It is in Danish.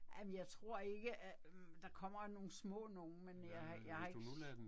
Ja men jeg tror ikke hm der kommer jo nogle små nogle, men jeg jeg har ikke